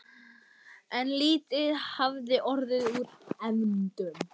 En lítið hafði orðið úr efndum.